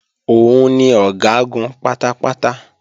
Òun ni Ọ̀gágun pátápátá